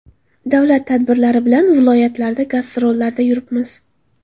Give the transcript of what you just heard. Davlat tadbirlari bilan viloyatlarda gastrollarda yuribmiz.